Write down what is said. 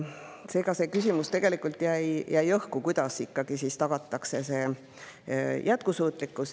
Seega jäi tegelikult õhku küsimus, kuidas siis ikkagi tagatakse jätkusuutlikkus.